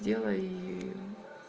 делай и